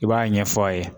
I b'a ɲɛfɔ a ye